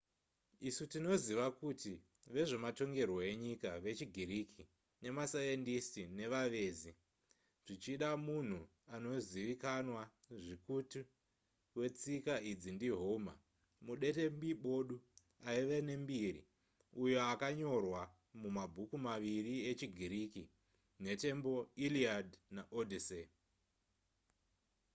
isu tinoziva kuti vezvematongerwo enyika vechigiriki nemasayendisiti nevavezi. zvichida munhu anozivikanwa zvikutu wetsika idzi ndi home mudetembi bodu aiva nembiri uyo akanyorwa mabhuku maviriechigiriki: nhetembo iliad naodyssey